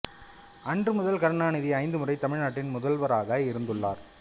அன்று முதல் கருணாநிதி ஐந்து முறை தமிழ்நாட்டின் முதல்வராக இருந்துள்ளார்